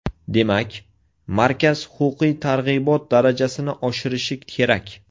Demak, markaz huquqiy targ‘ibot darajasini oshirishi kerak.